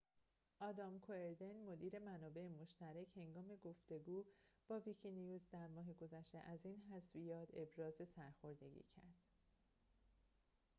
آدام کوئردن مدیر منابع مشترک هنگام گفتگو با ویکی‌نیوز در ماه گذشته از این حذفیات ابراز سرخوردگی کرد